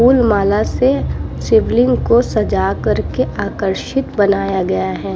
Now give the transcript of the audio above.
फूलमाला से शिवलिंग को सजा करके आकर्षित बनाया गया है।